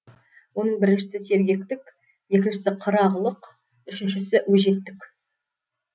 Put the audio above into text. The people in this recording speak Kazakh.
оның біріншісі сергектік екіншісі қырағылық үшіншісі өжеттік